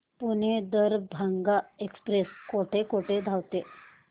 Pune Darbhanga express कुठे कुठे थांबते